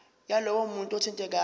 yalowo muntu othintekayo